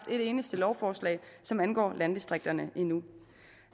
et eneste lovforslag som angår landdistrikterne endnu